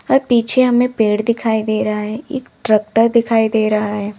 और पीछे हमें पेड़ दिखाई दे रहा है एक ट्रैक्टर दिखाई दे रहा है।